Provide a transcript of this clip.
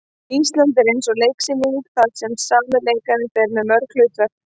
Ísland er eins og leiksýning þar sem sami leikari fer með mörg hlutverk.